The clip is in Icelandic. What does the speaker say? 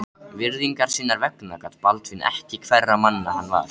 Virðingar sinnar vegna gat Baldvin ekki hverra manna hann var.